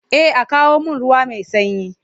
Eh a kawo mun ruwa mai sanyi.